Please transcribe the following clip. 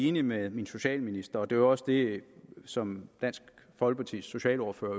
enig med min socialminister det var også det som dansk folkepartis socialordfører